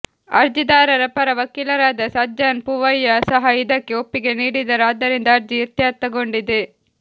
ಅರ್ಜಿದಾರರ ಪರ ವಕೀಲರಾದ ಸಜ್ಜನ್ ಪೂವಯ್ಯ ಸಹ ಇದಕ್ಕೆ ಒಪ್ಪಿಗೆ ನೀಡಿದರು ಆದ್ದರಿಂದ ಅರ್ಜಿ ಇತ್ಯರ್ಥಗೊಂಡಿದೆ